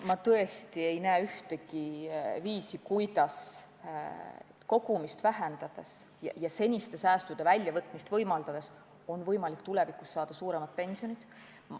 Ma tõesti ei näe ühtegi viisi, kuidas kogumist vähendades ja seniste säästude väljavõtmist võimaldades on võimalik tulevikus saada suuremad pensionid.